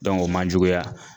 o ma juguya